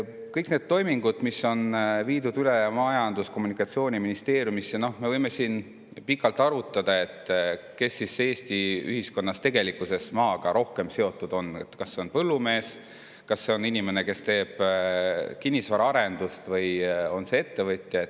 Kõik need toimingud, mis on viidud üle Majandus‑ ja Kommunikatsiooniministeeriumisse – noh, me võime siin pikalt arutada, kes Eesti ühiskonnas on tegelikkuses maaga rohkem seotud, kas see on põllumees, kas see on inimene, kes teeb kinnisvaraarendust, või on see ettevõtja.